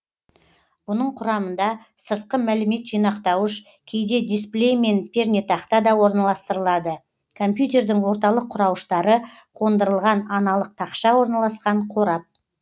бұның құрамында сыртқы мәлімет жинақтауыш кейде дисплей мен пернетақта да орналастырылады компьютердің орталық құрауыштары қондырылған аналық тақша орналасқан қорап